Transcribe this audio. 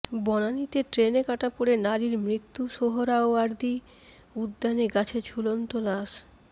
বনানীতে ট্রেনে কাটা পড়ে নারীর মৃত্যু সোহরাওয়ার্দী উদ্যানে গাছে ঝুলন্ত লাশ